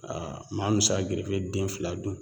maa min bɛ se ka gerefe den fila dun